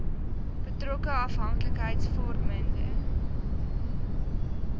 betrokke afhanklikheids vormende